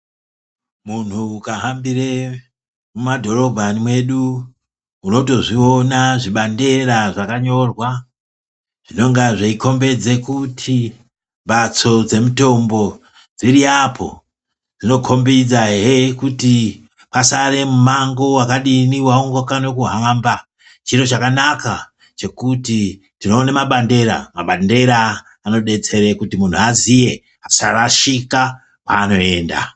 Munhu ukahambire mumadhorobha mwedu unotozviona zvibandera zvakanyora zvinonga zveikombedze kuti mhatso dzemitombo dziri apo, zvinokombedzahe kuti kwasare mumango wakadini waungade kuhamba, chiro chakanaka kuti tinoona mabandera, mabandera anodetsere kuti munhu aziye asarashika kwaanoenda.